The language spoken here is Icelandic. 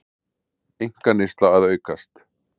Einkaneysla að aukast